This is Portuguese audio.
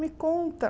Me conta.